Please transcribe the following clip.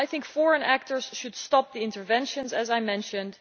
Foreign actors should stop the interventions, as I mentioned.